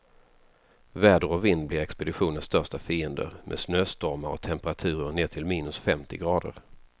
Väder och vind blir expeditionens största fiender, med snöstormar och temperaturer ner till minus femtio grader.